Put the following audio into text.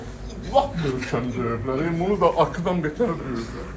Bunu lap lap möhkəm döyüblər, bunu da axıra qədər döyüblər.